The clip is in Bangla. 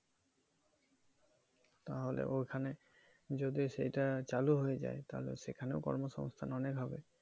তাহলে ওই খানে যদি সেটা চালু হয়ে যায় তাহলে সেখানেও কর্ম সংস্থা অনেক হবে